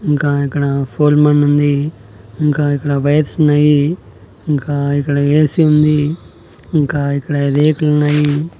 ఇంకా ఇక్కడ ఫోల్ మాన్ ఉంది ఇంకా ఇక్కడ వైర్స్ ఉన్నాయి ఇంకా ఇక్కడ ఏ_సీ ఉంది ఇంకా ఇక్కడ రేకులున్నాయి.